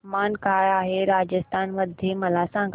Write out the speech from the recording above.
तापमान काय आहे राजस्थान मध्ये मला सांगा